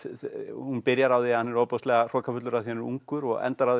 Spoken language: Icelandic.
hún byrjar á því að hann er ofboðslega hrokafullur af því hann er ungur og endar á